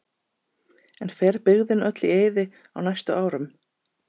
En fer byggðin öll í eyði á næstu árum?